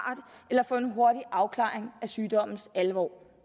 eller få en hurtig afklaring af sygdommens alvor